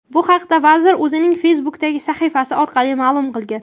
Bu haqda vazir o‘zining Facebook’dagi sahifasi orqali ma’lum qilgan .